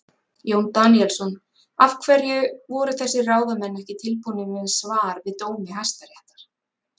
Jón Daníelsson: Af hverju voru þessir ráðamenn ekki tilbúnir með svar við dómi Hæstaréttar?